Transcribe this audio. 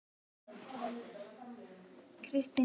Hilaríus, hversu margir dagar fram að næsta fríi?